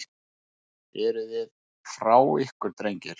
Eruði frá ykkur drengir?